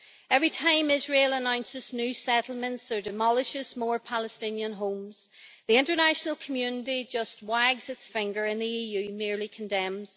Every time Israel announces new settlements or demolishes more Palestinian homes, the international community just wags its finger and the EU merely condemns.